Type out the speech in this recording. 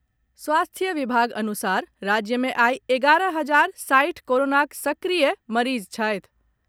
स्वास्थ्य विभाग अनुसार राज्य मे आइ एगारह हजार साठि कोरोनाक सक्रिय मरीज छथि।